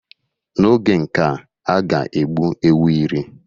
N'oge nkea, a ga-egbu ewu iri